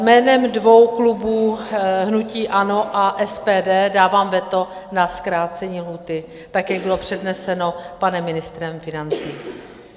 Jménem dvou klubů hnutí ANO a SPD dávám veto na zkrácení lhůty, tak jak bylo předneseno panem ministrem financí.